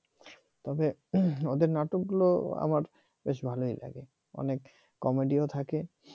তবে ওদের নাটকগুলো আমার বেশ ভালই লাগে অনেক comedy ও থাকে